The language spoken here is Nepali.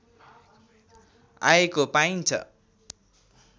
आएको पाइन्छ